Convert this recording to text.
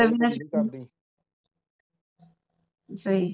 ਸਹੀ